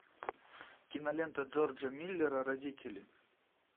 кинолента джорджа миллера родители